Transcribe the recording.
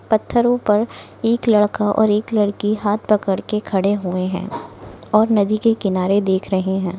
पत्थरों पर एक लड़का और एक लड़की हाथ पकड़ के खडे हुए है और नदी के किनारे देख रहे है।